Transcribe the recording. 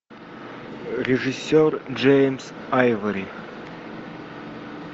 режиссер джеймс айвори